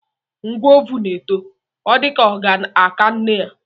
Nwa ovù na-eto, ọ dịka ọ ga-aka nne ya.